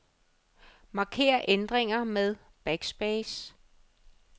Marker ændringer med backspace.